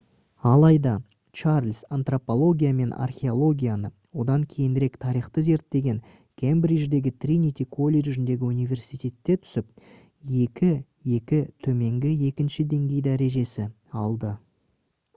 алайда чарльз антропология мен археологияны одан кейінірек тарихты зерттеген кембридждегі тринити колледжіндегі университетке түсіп 2:2 төменгі екінші деңгей дәрежесі алды